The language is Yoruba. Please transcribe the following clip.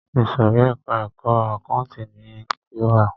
Ìsòrí ẹka ẹ̀kọ́ àkáǹtì ni a ti wá.